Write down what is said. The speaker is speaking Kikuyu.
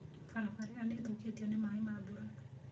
Barabara ĩyo nĩ ĩthũkĩtio nĩ maĩ ma mbura.